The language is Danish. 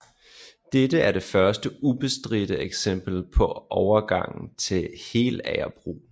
Dette er det første ubestridte eksempel på overgang til helagerbrug